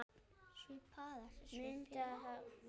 Muntu hafa næsta afmæli svipað?